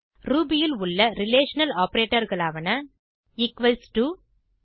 Ruby ல் உள்ள relation Operatorகளாவன ஈக்வல்ஸ் டோ உதா